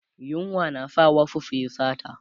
yunwa na sa wasu su Yi sata